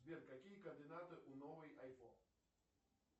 сбер какие координаты у новой айфон